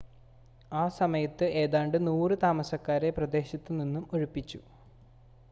ആ സമയത്ത് ഏതാണ്ട് 100 താമസക്കാരെ പ്രദേശത്ത് നിന്നും ഒഴിപ്പിച്ചു